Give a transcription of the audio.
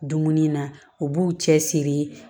Dumuni na u b'u cɛ siri